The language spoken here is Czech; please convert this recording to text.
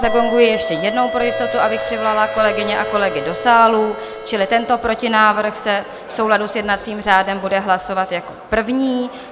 Zagonguji ještě jednou pro jistotu, abych přivolala kolegyně a kolegy do sálu, čili tento protinávrh se v souladu s jednacím řádem bude hlasovat jako první.